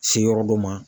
Se yɔrɔ dɔ ma